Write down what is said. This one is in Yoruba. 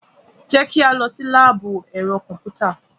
Jẹ́ ká lọ sí láàbù ẹ̀rọ kọ̀m̀pútà.